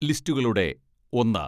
ലിസ്റ്റുകളുടെ ഒന്ന്